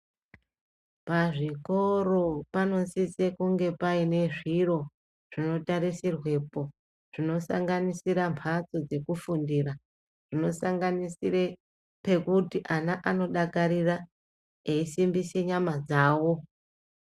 Pazvikoro panosise kunge paine zviro zvinotarisirwepo zvinosanganisira mbatso dzekufundira, zvinosanganisire pekuti ana anodakarira eisimbise nyama dzavo.